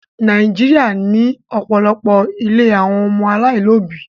Nàìjíríà ní òpòlopo ílé àwọn ọmọ alailòbí